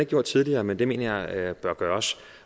gjort tidligere men det mener jeg bør gøres